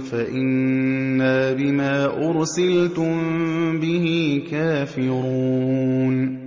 فَإِنَّا بِمَا أُرْسِلْتُم بِهِ كَافِرُونَ